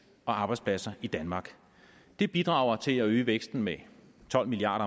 og arbejdspladser i danmark det bidrager til at øge væksten med tolv milliard